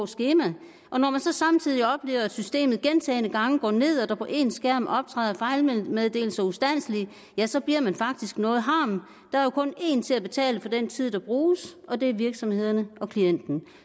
skema når man så samtidig oplever at systemet gentagne gange går ned og der på ens skærm optræder fejlmeddelelser ustandselig ja så bliver man faktisk noget harm der er jo kun en til at betale for den tid der bruges og det er virksomheden klienten